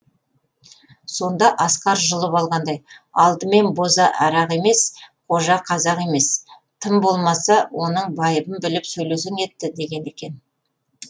сонда асқар жұлып алғандай алдымен боза арақ емес қожа қазақ емес тым болмаса оның байыбын біліп сөйлесең етті деген екен